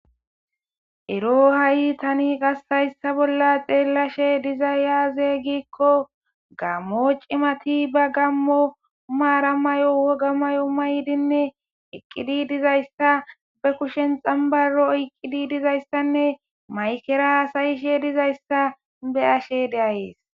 Ero ha7i tani gastayssa bolla xeellashe dizayaaze gikko gammo cimati ba gammo umaara mayo woga mayo maydinne eqqidi dizayssa be kushen xambaro oyqqidi dizayssanne maykera sayishe dizayssa be ashe deayees